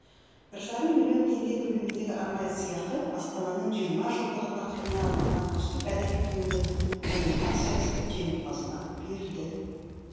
бір жарым миллион теңге көлеміндегі арнайы сыйақы астананың жиырма жылдығы тақырыбына арналған үздік әдеби туынды номинациясы жеңімпазына берілді